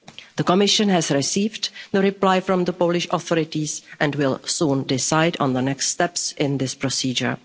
The Commission has received the reply from the Polish authorities and will soon decide on the next steps in this procedure.